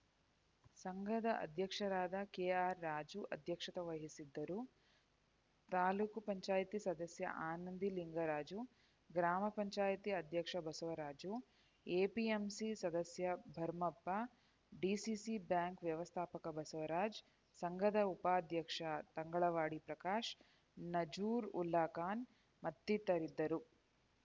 ಸಂಘದ ಅಧ್ಯಕ್ಷರಾದ ಕೆಆರ್‌ರಾಜು ಅಧ್ಯಕ್ಷತೆ ವಹಿಸಿದ್ದರು ತಾಲೂಕ್ ಪಂಚಾಯಿತಿ ಸದಸ್ಯ ಆನಂದಿ ಲಿಂಗರಾಜು ಗ್ರಾಮ ಪಂಚಾಯಿತಿ ಅಧ್ಯಕ್ಷ ಬಸವರಾಜು ಎಪಿಎಂಸಿ ಸದಸ್ಯ ಭರ್ಮಪ್ಪ ಡಿಸಿಸಿ ಬ್ಯಾಂಕ್‌ ವ್ಯವಸ್ಥಾಪಕ ಬಸವರಾಜ್‌ ಸಂಘದ ಉಪಾಧ್ಯಕ್ಷ ತಂಗಳಾವಾಡಿ ಪ್ರಕಾಶ್‌ ನಜರುಲ್ಲಾಖಾನ್‌ ಮತ್ತಿತರರಿದ್ದರು